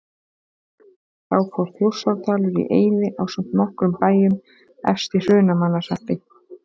Þá fór Þjórsárdalur í eyði ásamt nokkrum bæjum efst í Hrunamannahreppi.